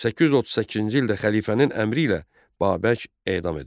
838-ci ildə xəlifənin əmri ilə Babək edam edildi.